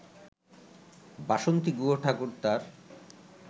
বাসন্তী গুহঠাকুরতার